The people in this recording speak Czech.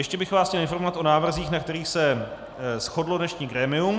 Ještě bych vás chtěl informovat o návrzích, na kterých se shodlo dnešní grémium.